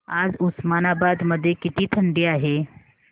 आज उस्मानाबाद मध्ये किती थंडी आहे